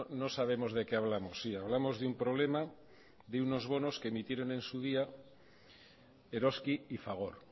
no sabemos de qué hablamos sí hablamos de un problema de unos bonos que emitieron en su día eroski y fagor